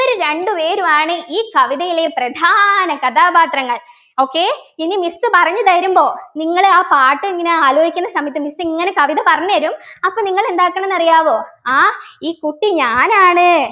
ഇവര് രണ്ടുപേരുമാണ് ഈ കവിതയിലെ പ്രധാന കഥാപാത്രങ്ങൾ okay ഇനി miss പറഞ്ഞു തരുമ്പോ നിങ്ങൾ ആ പാട്ട് എങ്ങനെ ആലോചിക്കുന്ന സമയത്ത് miss ഇങ്ങനെ കവിത പറഞ്ഞുതരും അപ്പോ നിങ്ങൾ എന്താക്കണംന്നറിയാമോ ആഹ് ഈ കുട്ടി ഞാനാണ്